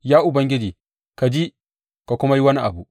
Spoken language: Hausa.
Ya Ubangiji, ka ji ka kuma yi wani abu!